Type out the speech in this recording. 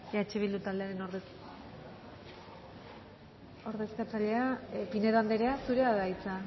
eh bildu taldeen ordezkaria pinedo anderea zurea da hitza